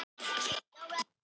Reyndin er þó önnur.